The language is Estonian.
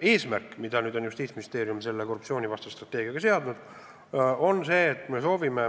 Eesmärk, mille Justiitsministeerium on seadnud korruptsioonivastase strateegiaga, on see, et me soovime